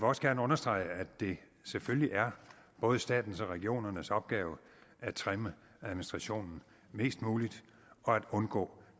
også gerne understrege at det selvfølgelig er både statens og regionernes opgave at trimme administrationen mest muligt og at undgå